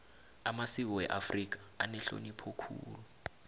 amasiko weafrika anehlonipho khulu